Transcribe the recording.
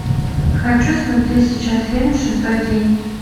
хочу смотреть сейчас фильм шестой день